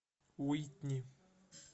уитни